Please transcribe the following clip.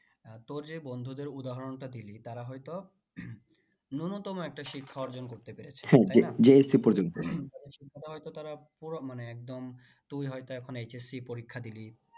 আহ তোর যে বন্ধুদের উদাহরণটা দিলি তারা হয়তো নুন্নতম একটা শিক্ষা অর্জন করতে পেরেছে তাদের শিক্ষাটা হয়তো তারা পুরো মানে একদম তুই হয়তো এখন HSC পরীক্ষা দিলি